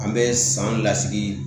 An bɛ san lasigi